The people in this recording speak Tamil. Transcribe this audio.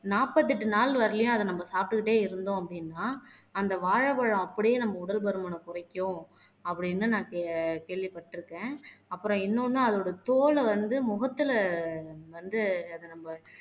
நாற்பத்தி எட்டு நாள் வரையிலும் அத நம்ம சாப்பிட்டுக்கிட்டே இருந்தோம் அப்படின்னா அந்த வாழைப்பழம் அப்படியே நம்ம உடல் பருமனைக் குறைக்கும். அப்படீன்னு நான் கேள் கேள்விப்பட்டிருக்கேன் அப்புறம் இன்னொன்னு அதோட தோலை வந்து முகத்திலே வந்து அத நம்ம